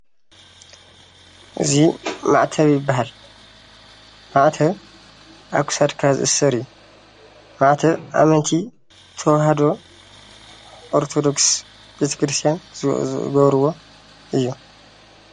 እዚ ማዕተብ ይበሃል። ማዕተብ ኣብ ክሳድካ ዝእሰር እዩ። ማዕተብ ኣመንቲ ተዋህዶ ኦርቶዶክስ ቤተክርስትያን ዝገብርዎ እዩ።